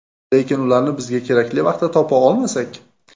Lekin ularni bizga kerakli vaqtda topa olmasak?